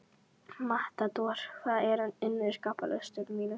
Matador, hvað er á innkaupalistanum mínum?